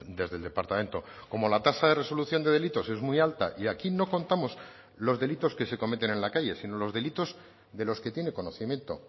desde el departamento como la tasa de resolución de delitos es muy alta y aquí no contamos los delitos que se cometen en la calle sino los delitos de los que tiene conocimiento